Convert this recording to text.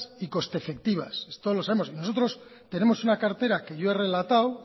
y coste efectivas esto lo sabemos nosotros tenemos una cartera que yo he relatado